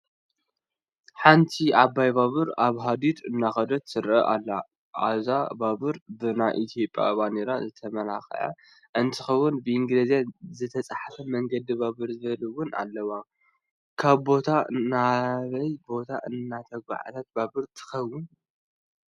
ሓንቲ ዓባይ ባቡር ኣብ ሃዲዳ እንዳኸደት ትረአ ኣላ፡፡ አዛ ባቡር ብናይ ኢ/ያ ባንዴራ ዝተመላኸዐት እንትትከውን ብእንግሊዝኛ ዝተፃሕፈ መንገዲ ባቡብ ዝብል ውን ኣለዋ፡፡ ካብ ቦታ ናበይ ቦታ እትጓዓዝ ባቡር ትኸውን?